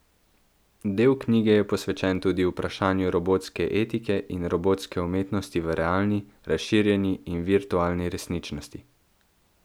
Del knjige je posvečen tudi vprašanju robotske etike in robotske umetnosti v realni, razširjeni in virtualni resničnosti.